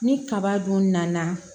Ni kaba dun nana